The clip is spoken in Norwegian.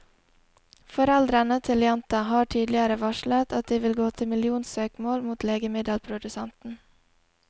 Foreldrene til jenta har tidligere varslet at de vil gå til millionsøksmål mot legemiddelprodusenten.